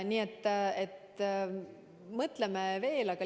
Nii et mõtleme veel!